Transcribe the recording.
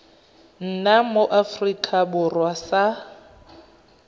nna mo aforika borwa sa